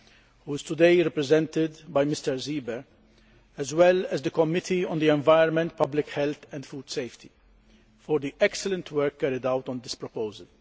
who is today represented by Mr Seeber, as well as the Committee on the Environment, Public Health and Food Safety, for the excellent work carried out on this proposal